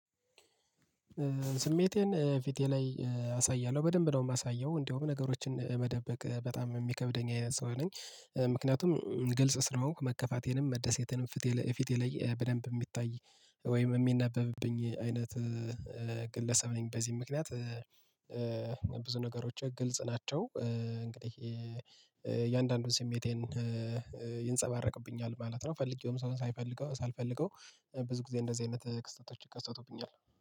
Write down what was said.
ስሜቴን ፊቴ ላይ አሳያለሁ በደንብ ነው የማሳየው እንደውም ነገሮችን መደበቅ በጣም የሚከብደኝ አይነት ሰው ነኝ። ምክንያቱም ግልጽ ስለሆንኩ መከፋቴንም መደሰቴንም ፊቴ ላይ በደንብ የሚታይ ወይም የሚነበብብኝ አይነት። ግለሰብ ነኝ በዚህም ምክንያት ብዙ ነገሮቼ ግልጽ ናቸው። እንግዲህ የእያንዳንዱን ስሜቴን ይንጸባረቅብኛል ማለት ነው። ፈልጌውም ሰው ሳይፈልገው ሳልፈልገው ብዙ ጊዜ እንደዚህ አይነት ክስተቶች ይከሰቱብኛል